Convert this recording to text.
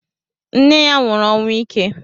Nne ya nwụrụ ọnwụ ike.